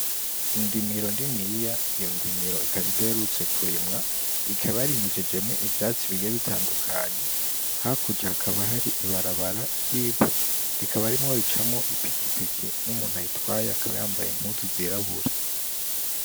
Indimiro niniya, iyo ndimiro ikaba idaherutse kurimwa, ikaba yarimejejemwo ivyatsi bigiye bitandukanye, hakurya hakaba hari ibarabara ry'ivu rikaba rimwo ricamwo ipikipiki n'umuntu ayitwaye akaba yambaye impuzu zirabura.